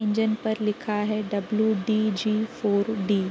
Engine पर लिखा है W D G four D.